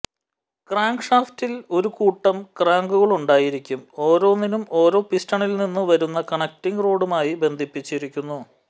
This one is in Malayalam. ക്രാങ്ക് ഷാഫ്റ്റിൽ ഒരു കൂട്ടം ക്രാങ്കുകളുണ്ടായിരിക്കും ഓരോന്നും ഓരോ പിസ്റ്റണിൽ നിന്നു വരുന്ന കണക്റ്റിങ് റോഡുമായി ബന്ധിപ്പിച്ചിരിക്കുന്നു